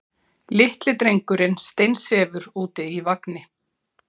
Litli drengurinn steinsefur úti í vagni.